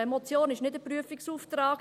Eine Motion ist nicht ein Prüfungsauftrag.